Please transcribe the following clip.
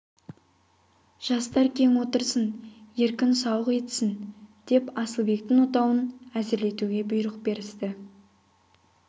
жастар кең отырсын еркін сауық етсін деп асылбектің отауын әзірлетуге бұйрық берісті